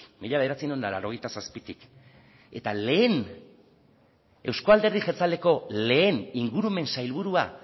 mila bederatziehun eta laurogeita zazpitik eta euzko alderdi jeltzaleko lehen ingurumen sailburua